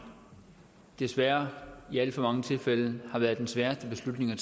desværre i alt for mange tilfælde har været den sværeste beslutning at